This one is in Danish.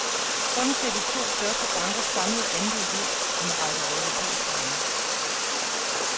Sådan ser de to største bankers samlede andel ud i en række europæiske lande.